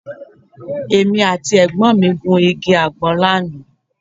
Èmi àti ẹ̀gbọ́n mi gun igi àgbọn lánàá